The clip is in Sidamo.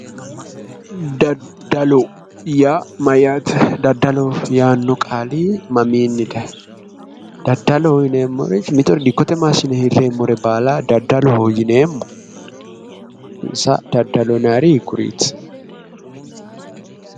Daddalo, daddalo yaa mayyaate? daddalo yaanno qaali mamiinni dayiino? Daddalo yinemmori dikkote massine hireemmo baala daddaloho yineemmonso daddalu maati?